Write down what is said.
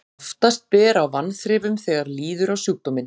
oftast ber á vanþrifum þegar líður á sjúkdóminn